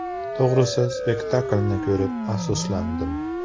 To‘g‘risi, spektaklni ko‘rib afsuslandim.